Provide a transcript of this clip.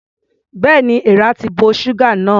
Bẹ́ẹ̀ni, èeàrà ti bo ṣúgà náà.